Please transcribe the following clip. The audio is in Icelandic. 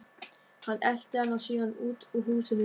Hann elti hana síðan út úr húsinu.